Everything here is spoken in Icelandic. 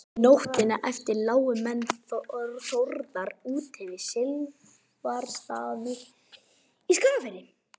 nóttina eftir lágu menn þórðar úti við silfrastaði í skagafirði